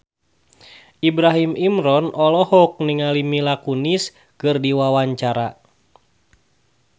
Ibrahim Imran olohok ningali Mila Kunis keur diwawancara